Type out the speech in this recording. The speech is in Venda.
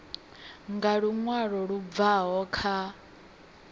nga luṅwalo lu bvaho kha